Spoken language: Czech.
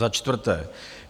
Za čtvrté.